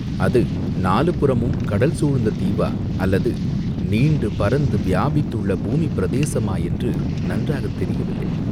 அது நாலு புறமும் கடல் சூழ்ந்த தீவா அல்லது நீண்டு பரந்து வியாபித்துள்ள பூமிப் பிரதேசமா என்று நன்றாகத் தெரியவில்லை.